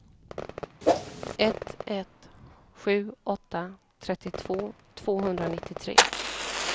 ett ett sju åtta trettiotvå tvåhundranittiotre